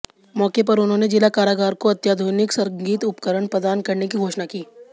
मौके पर उन्होंने जिला कारागार को अत्याधुनिक संगीत उपकरण प्रदान करने की घोषणा की